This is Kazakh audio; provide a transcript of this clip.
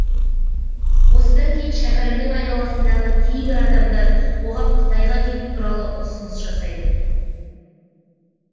осыдан кейін шәкәрімнің айналасындағы кейбір адамдар оған қытайға кету туралы ұсыныс жасайды